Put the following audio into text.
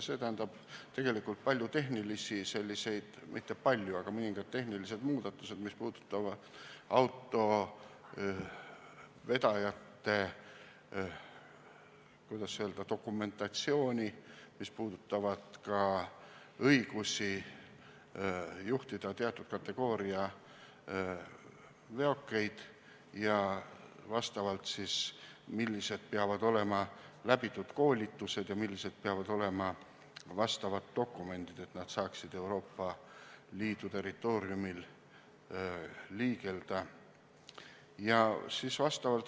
See tähendab tegelikult mõningaid tehnilisi muudatusi, mis puudutavad autovedajate, kuidas öelda, dokumentatsiooni, mis puudutavad ka õigusi juhtida teatud kategooria veokeid ja vastavalt siis seda, millised koolitused peavad olema läbitud ja missugused peavad olema vastavad dokumendid, et saaks Euroopa Liidu territooriumil liigelda.